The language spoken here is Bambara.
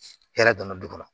Hɛrɛ donna du kɔnɔ